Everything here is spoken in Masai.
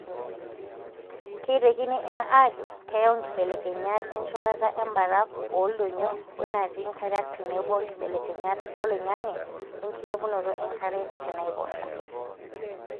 Keitekini ena ajo keyau nkibelekenyat encholata embarafu ooldonyio wenatii nkariak tenebo nkibelekenyat oloingange wenkilepunoto enkare tenaiposha.